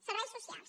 serveis socials